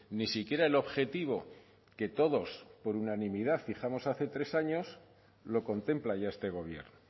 ni siquiera el objetivo que todos por unanimidad fijamos hace tres años lo contempla ya este gobierno